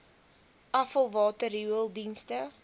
afvalwater riool dienste